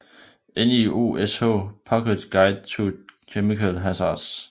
NIOSH Pocket Guide to Chemical Hazards